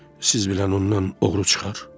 Siz bilən ondan oğru çıxar?